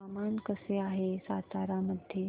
हवामान कसे आहे सातारा मध्ये